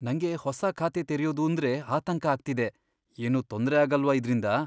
ನಂಗೆ ಹೊಸ ಖಾತೆ ತೆರೆಯೋದೂಂದ್ರೆ ಆತಂಕ ಆಗ್ತಿದೆ. ಏನೂ ತೊಂದ್ರೆ ಆಗಲ್ವಾ ಇದ್ರಿಂದ?